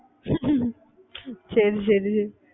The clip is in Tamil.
சரி சரி